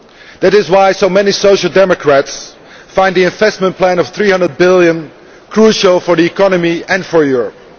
That is why so many Social Democrats find the investment plan of EUR 300 billion crucial for the economy and for Europe.